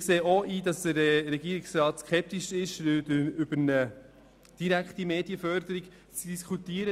Wir sehen ein, dass der Regierungsrat der Diskussion einer direkten Medienförderung skeptisch gegenübersteht.